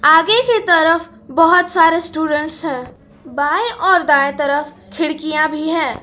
आगे की तरफ बहोत सारे स्टूडेंट्स हैं बाएं और दाएं तरफ खिड़कियां भी हैं।